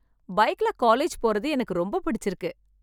பைக்ல காலேஜ் போறது எனக்கு ரொம்ப புடிச்சிருக்கு